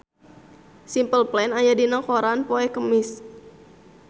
Simple Plan aya dina koran poe Kemis